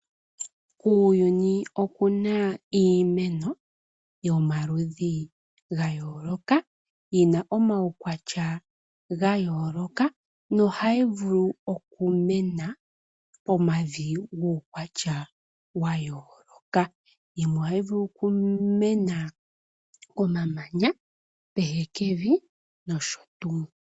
Kuuyuni oku na iimeno yomaludhi ga yooloka, yi na omaukwatya ga yooloka nohayi vulu okumena momavi gomaukwatya ga yooloka. Yimwe ohayi vulu okumena momamanya, mehekevi nosho tuu.